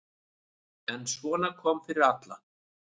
En svona kom fyrir alla.